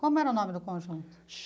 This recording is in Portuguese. Como era o nome do conjunto?